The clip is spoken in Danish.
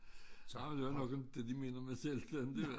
Var vel jo nok inte de mener med selvstændig